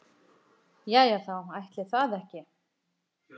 Jæja þá, ætli það ekki.